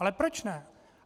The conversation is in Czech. Ale proč ne?